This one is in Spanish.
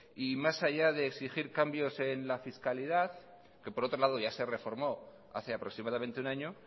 y más allá de exigir cambios en la fiscalidad que por otro lado ya se reformó hace aproximadamente un año